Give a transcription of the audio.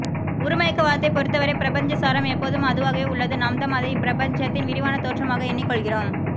உருமயக்க வாதத்தைப்பொறுத்தவரை பிரபஞ்ச சாரம் எப்போதும் அதுவாகவே உள்ளது நாம்தான் அதை இப்பிரபஞ்சத்தின் விரிவான தோற்றமாக எண்ணிக்கொள்கிறோம்